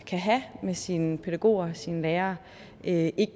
kan have med sine pædagoger og sine lærere ikke